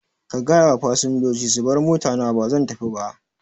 Ka gayawa fasinjoji su bar motana bazan tafiba